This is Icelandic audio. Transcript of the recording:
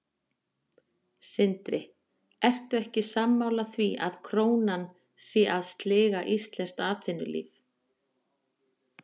Sindri: Ertu ekki sammála því að krónan sé að sliga íslenskt atvinnulíf?